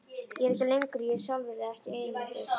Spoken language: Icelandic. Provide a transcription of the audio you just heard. Ég er ekki lengur ég sjálfur, eða ekki einungis.